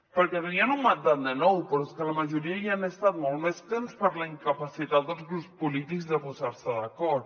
perquè tenien un mandat de nou però és que la majoria hi han estat molt més temps per la incapacitat dels grups polítics de posar se d’acord